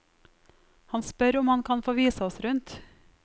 Han spør om han kan få vise oss rundt.